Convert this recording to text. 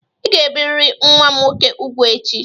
Ị ga-ebirịrị nwa m nwoke úgwù echi!